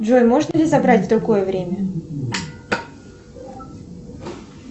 джой можно ли забрать в другое время